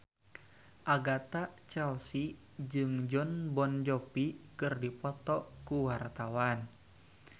Agatha Chelsea jeung Jon Bon Jovi keur dipoto ku wartawan